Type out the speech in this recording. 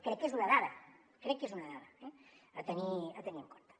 crec que és una dada crec que és una dada a tenir en compte